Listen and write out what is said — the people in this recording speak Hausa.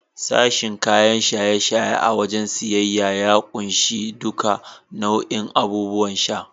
Sashen kayan shaye-shaye a wajen siyayya ya kunshi duka bau'in abubuwan sha.